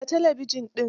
Kunna talabijin din.